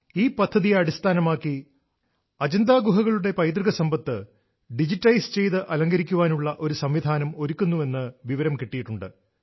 ഈ പദ്ധതിയെ അടിസ്ഥാനമാക്കി അജന്ത ഗുഹകളുടെ പൈതൃക സമ്പത്ത് ഡിജിറ്റലൈസ് ചെയ്ത് അലങ്കരിക്കാനുള്ള ഒരു സംവിധാനം ഒരുക്കുന്നുവെന്ന് വിവരം കിട്ടിയിട്ടുണ്ട്